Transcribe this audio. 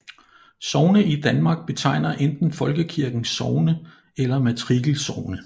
Sogne i Danmark betegner enten Folkekirkens sogne eller matrikelsogne